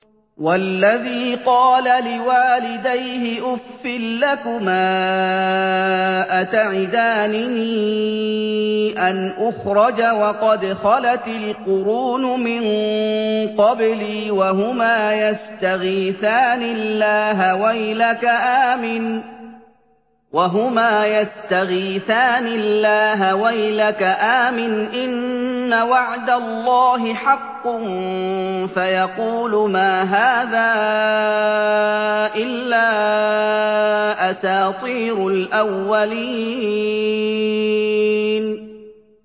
وَالَّذِي قَالَ لِوَالِدَيْهِ أُفٍّ لَّكُمَا أَتَعِدَانِنِي أَنْ أُخْرَجَ وَقَدْ خَلَتِ الْقُرُونُ مِن قَبْلِي وَهُمَا يَسْتَغِيثَانِ اللَّهَ وَيْلَكَ آمِنْ إِنَّ وَعْدَ اللَّهِ حَقٌّ فَيَقُولُ مَا هَٰذَا إِلَّا أَسَاطِيرُ الْأَوَّلِينَ